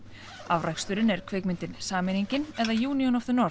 afraksturinn er kvikmyndin sameiningin eða union of the